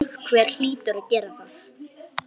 Einhver hlýtur að gera það.